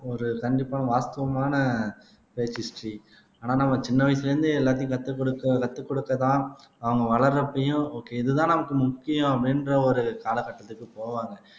ஒரு கண்டிப்பான வாஸ்துவமான பிரேக் ஹிஸ்டரி ஆனா நம்ம சின்ன வயசுல இருந்தே எல்லாத்தையும் கற்றுக் கொடுக்க கத்துக் கொடுக்கத்தான் அவங்க வளர்றப்பையும் ஓகே இதுதான் நமக்கு முக்கியம் அப்படின்ற ஒரு காலகட்டத்துக்கு போவாங்க